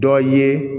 Dɔ ye